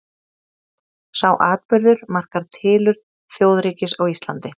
sá atburður markar tilurð þjóðríkis á íslandi